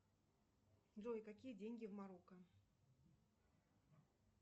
джой какие деньги в марокко